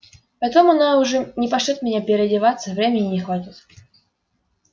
потом она уже не пошлёт меня переодеваться времени не хватит